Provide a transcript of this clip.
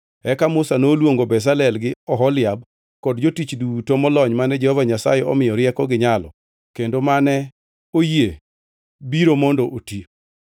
Eka Musa noluongo Bezalel gi Oholiab kod jotich duto molony mane Jehova Nyasaye omiyo rieko gi nyalo kendo mane oyie biro mondo oti.